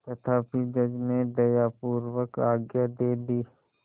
तथापि जज ने दयापूर्वक आज्ञा दे दी